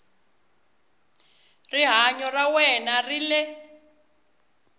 rihanyo ra wena ri le